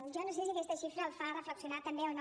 jo no sé si aquesta xifra el fa reflexionar també o no